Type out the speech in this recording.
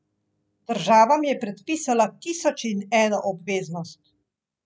Država mi je predpisala tisoč in eno obveznost.